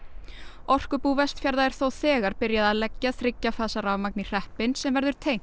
orkubú Vestfjarða er þó þegar byrjað að leggja þriggja fasa rafmagn í hreppinn sem verður tengt